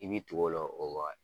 I b'i tugu o la o waga